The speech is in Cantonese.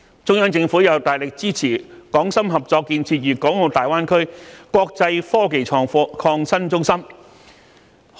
中央政府又大力支持港深合作建設粵港澳大灣區國際科技創新中心。